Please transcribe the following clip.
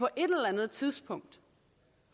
eller andet tidspunkt